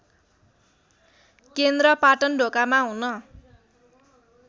केन्द्र पाटनढोकामा हुन